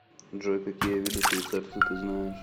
джой какие виды швейцарцы ты знаешь